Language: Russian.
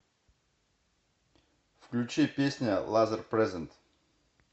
включи песня лазерпрезент